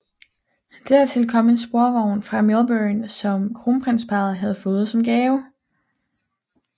Dertil kom en sporvogn fra Melbourne som kronprinsparret havde fået som gave